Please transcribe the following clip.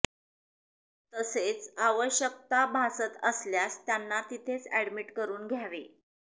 तसेच आवश्यकता भासत असल्यास त्यांना तीथेच एडमिट करुन घ्यावे